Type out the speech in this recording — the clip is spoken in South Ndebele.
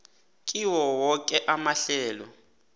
kiwo woke amahlelo